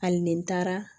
Hali ni n taara